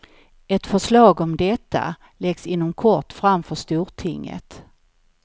Ett förslag om detta läggs inom kort fram för stortinget.